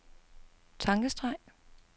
tankestreg